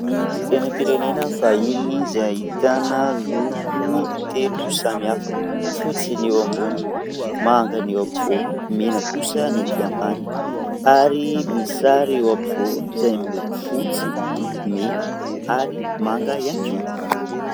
Sainam-pirenena vahiny izay ahitana loko telo samy hafa : fotsy ny eo ambony, manga ny eo ampovoany, mena kosa ny etỳ ambany ary ny misy sary eo ampovoany izay miloko fotsy, mena ary manga ihany koa.